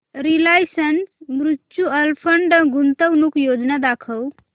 Reliance mutual fund गुंतवणूक योजना दाखव